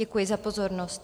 Děkuji za pozornost.